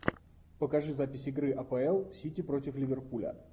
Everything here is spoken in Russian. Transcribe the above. покажи запись игры апл сити против ливерпуля